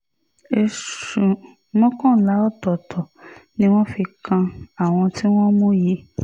ẹ̀sùn mọ́kànlá ọ̀tọ̀ọ̀tọ̀ ni wọ́n fi kan àwọn tí wọ́n mú yìí